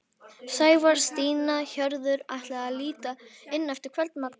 Sævar, Stína og Hörður ætla að líta inn eftir kvöldmat.